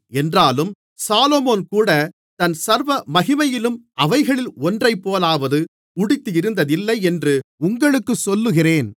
என்றாலும் சாலொமோன்கூட தன் சர்வமகிமையிலும் அவைகளில் ஒன்றைப்போலாவது உடுத்தியிருந்ததில்லை என்று உங்களுக்குச் சொல்லுகிறேன்